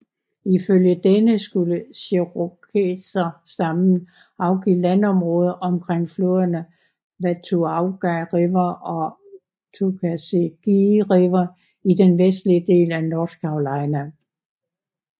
Ifølge denne skulle cherokserstammen afgive landområder omkring floderne Watauga River og Tuckasegee River i den vestlige del af North Carolina